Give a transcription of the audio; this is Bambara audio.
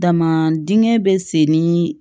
Dama dingɛ bɛ segin ni